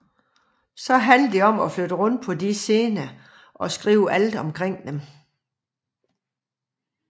Så handlede det om at flytte rundt på de scener og skrive alt omkring dem